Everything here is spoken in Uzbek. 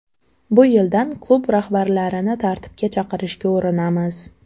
Bu yildan klub rahbarlarini tartibga chaqirishga urinamiz.